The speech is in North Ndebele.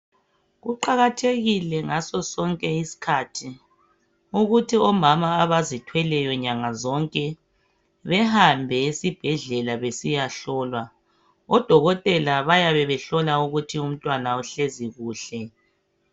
Kuqakathekile ukuthi ngaso sonke isikhathi ukuthi omama abazithweleyo nyangazonke behambe esibhedlela besiya hlolwa. Odokotela bayabe behlola ukuthi umntwana uhlezi kuhle.